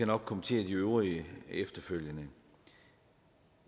nok kommentere det øvrige efterfølgende